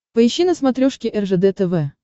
поищи на смотрешке ржд тв